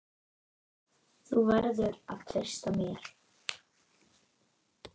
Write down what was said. Þú verður að treysta mér